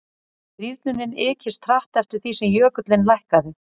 rýrnunin ykist hratt eftir því sem jökullinn lækkaði